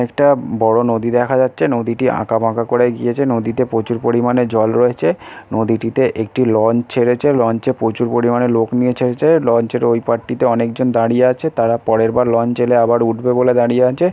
একটা বড়ো নদী দেখা যাচ্ছে। নদীটি আঁকাবাঁকা করে গিয়েছে। নদীতে প্রচুর পরিমাণে জল রয়েছে । নদীটিতে একটি লঞ্চ ছেড়েছে। লঞ্চে প্রচুর পরিমাণে লোক নিয়ে ছেড়েছে। লঞ্চ -এর ওই পাড়টিতে অনেকজন দাঁড়িয়ে আছে তারা পরেরবার লঞ্চ এলে আবার উঠবে বলে দাঁড়িয়ে আছে--